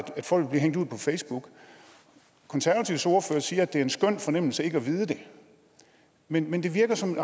folk bliver hængt ud på facebook konservatives ordfører siger at det er en skøn fornemmelse ikke at vide det men men det virker som en